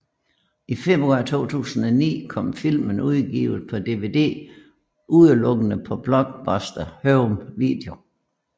I februar 2009 kom filmen udgivet på DVD udelukkende på Blockbuster Home Video